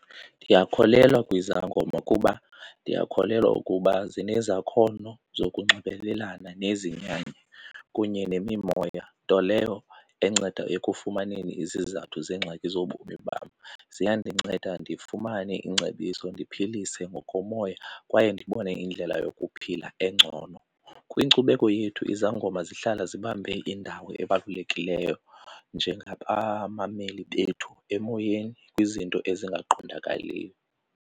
Ndiyakholelwa kwizangoma kuba ndiyakholelwa ukuba zinezakhono zokunxibelelana nezinyanya kunye nemimoya, nto leyo enceda ekufumaneni izizathu zeengxaki zobomi bam. Ziyandinceda ndifumane iingcebiso, ndiphilise ngokomoya kwaye ndibone indlela yokuphila engcono. Kwinkcubeko yethu izangoma zihlala zibambe indawo ebalulekileyo njengabamameli bethu emoyeni kwizinto ezingaqondakaliyo.